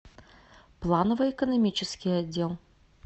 плановый экономический отдел